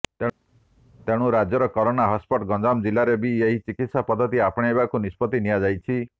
ତେଣୁ ରାଜ୍ୟର corona hotspot Ganjam ଜିଲ୍ଲାରେ ବି ଏହି ଚିକିତ୍ସା ପଦ୍ଧତି ଆପଣେଇବାକୁ ନିଷ୍ପତ୍ତି ନିଆଯାଇଛି